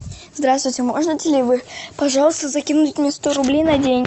здравствуйте можете ли вы пожалуйста закинуть мне сто рублей на день